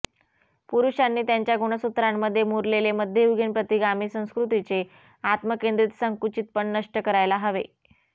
पुरुषांनी त्यांच्या गुणसूत्रांमध्ये मुरलेले मध्ययुगीन प्रतिगामी संस्कृतीचे आत्मकेंद्रित संकुचितपण नष्ट करायला हवे